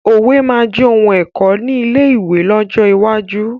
Òwe máa jẹ òun ẹ̀kọ́ ni ilé ìwé lọ́jọ́ iwájú